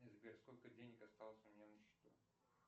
сбер сколько денег осталось у меня на счету